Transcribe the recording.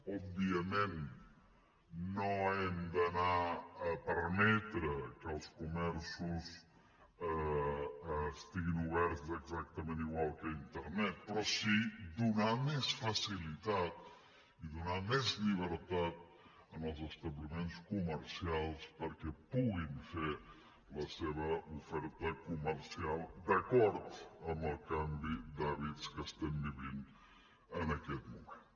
òbviament no hem d’anar a permetre que els comerços estiguin oberts exactament igual que internet però sí a donar més facilitat i donar més llibertat als establiments comercials perquè puguin fer la seva oferta comercial d’acord amb el canvi d’hàbits que estem vivint en aquest moment